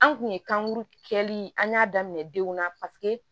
An kun ye kankuru kɛlen an y'a daminɛ denw na paseke